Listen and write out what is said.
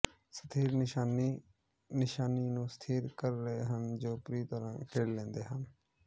ਸਥਿਰ ਨਿਸ਼ਾਨੀ ਨਿਸ਼ਾਨੀ ਨੂੰ ਸਥਿਰ ਕਰ ਰਹੇ ਹਨ ਜੋ ਪੂਰੀ ਤਰਾਂ ਖਿੜ ਲੈਂਦੇ ਹਨ